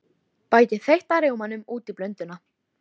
Bætið þeytta rjómanum út í blönduna.